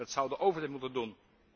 Dat zou de overheid moeten doen!